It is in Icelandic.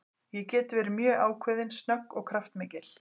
Ég get verið mjög ákveðin, snögg og kraftmikil.